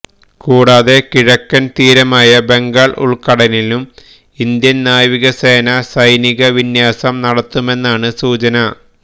കൂടാതെ കിഴക്കന് തീരമായ ബംഗാള് ഉള്ക്കടലിലും ഇന്ത്യൻ നാവിക സേന സൈനിക വിന്യാസം നടത്തുമെന്നാണ് സൂചന